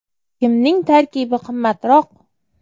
Kimning tarkibi qimmatroq?.